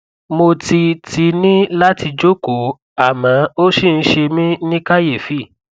mo ti ti ní láti jókòó àmọ ó ṣì ń ṣe mí ní kàyéfì